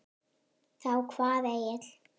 Þá kvað Egill